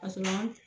Kasɔrɔ